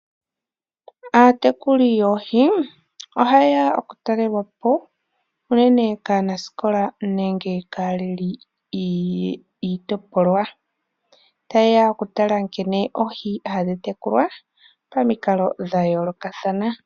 Aatekuli yoohi oha yeya oku talelwapo kaanasikola nenge kaaleli yiitopolwa ,tayeya okutala nkene oohi hadhi tekulwa pomikalo dha yoolokathana.